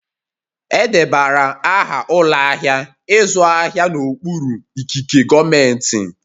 Edebara aha ụlọ ahịa ịzụ ahịa n'okpuru ikike gọọmentị